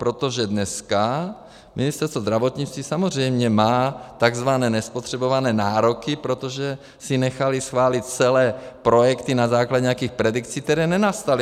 Protože dneska Ministerstvo zdravotnictví samozřejmě má takzvané nespotřebované nároky, protože si nechali schválit celé projekty na základě nějakých predikcí, které nenastaly.